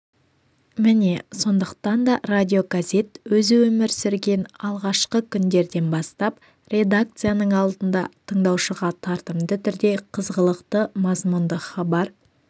міне сондықтан да радиогазет өзі өмір сүрген алғашқы күндерден бастап редакцияның алдында тыңдаушыға тартымды түрде қызғылықты мазұнды хабар